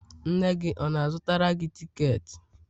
nne gị ọ na-azụra gị tiketi?